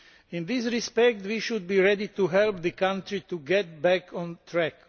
In this respect, we should be ready to help the country to get back on track.